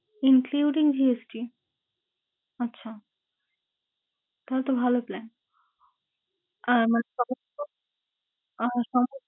Including GST? আচ্ছা, তাহলে তো ভালো plan । আমার খরচ তো